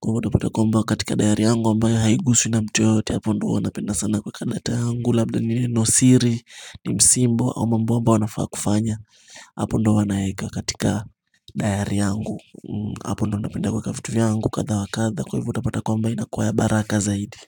kwahiyo utapata kuomba katika dayari yangu ambayo haiguswi na mtu yoyote hapo ndo huwa napenda sana kuweka data yangu labda ni neno siri ni msimbo au mambo ambayo nafaa kufanya hapo ndo huwa naeka katika dayari yangu hapo ndo napenda kuweka vitu vyangu kadha wa kadha kwa hivyo utapata kwamba inakuwa ya baraka zaidi.